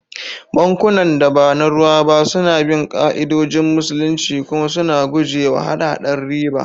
Bankunan da ba na ruwa ba suna bin ka'idodin Musulunci kuma suna guje wa hada-hadar riba.